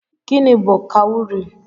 Gịnị bu kawurii?